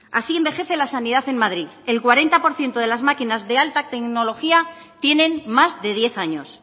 así envejece la sanidad en madrid el cuarenta por ciento de las máquinas de alta tecnología tienen más de diez años